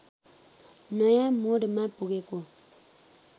नयाँ मोडमा पुगेको